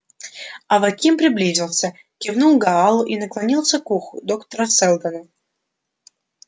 аваким приблизился кивнул гаалу и наклонился к уху доктора сэлдона